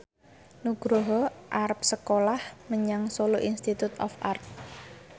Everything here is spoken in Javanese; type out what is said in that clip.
Nugroho arep sekolah menyang Solo Institute of Art